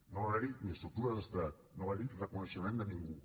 no va haver hi estructures d’estat no va haver hi reconeixement de ningú